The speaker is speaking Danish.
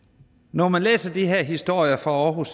når man læser de her historier fra aarhus